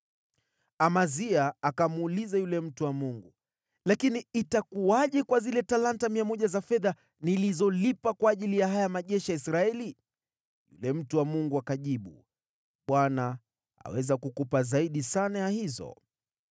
Amazia akamuuliza yule mtu wa Mungu, “Lakini itakuwaje kwa zile talanta 100 za fedha nilizolipa kwa ajili ya haya majeshi ya Israeli?” Yule mtu wa Mungu akajibu, “ Bwana aweza kukupa zaidi sana ya hizo.”